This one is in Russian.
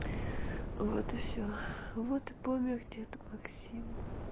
вот и все вот и помер дед максим